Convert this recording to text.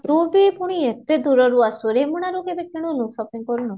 ତୁ ବି ପୁଣି ଏତେ ଦୁରରୁ ଆସୁ ରେ ରେମୁଣା ରୁ କେବେ କିଣିନୁ shopping କରିନୁ ?